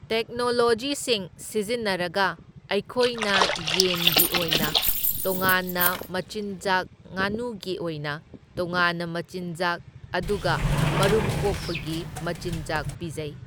ꯇꯦꯛꯅꯣꯂꯣꯖꯤꯁꯤꯡ ꯁꯤꯖꯤꯟꯅꯔꯒ ꯑꯩꯈꯣꯏꯅ ꯌꯦꯟꯒꯤ ꯑꯣꯏꯅ ꯇꯣꯉꯥꯟꯅ ꯃꯆꯤꯟꯖꯥꯛ ꯉꯥꯅꯨꯒꯤ ꯑꯣꯏꯅ ꯇꯣꯉꯥꯟꯅ ꯃꯆꯤꯟꯖꯥꯛ ꯑꯗꯨꯒ ꯃꯔꯨꯝ ꯀꯣꯛꯄꯒꯤ ꯃꯆꯤꯟꯖꯥꯛ ꯄꯤꯖꯩ꯫